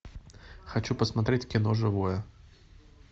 хочу посмотреть кино живое